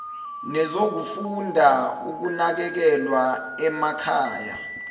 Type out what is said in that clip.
nezokufunda ukunakekelwa emakhaya